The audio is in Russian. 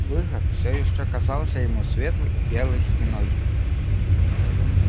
выход всё ещё казался ему светлой и белой стеной